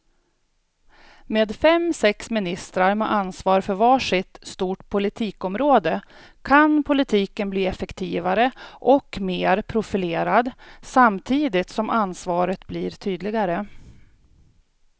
Med fem, sex ministrar med ansvar för var sitt stort politikområde kan politiken bli effektivare och mer profilerad samtidigt som ansvaret blir tydligare.